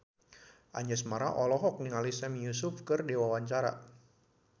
Anjasmara olohok ningali Sami Yusuf keur diwawancara